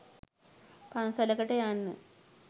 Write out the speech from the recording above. පන්සලකට යන්න.